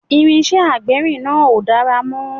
Irinṣẹ́ agbérin náà ò dára mọ́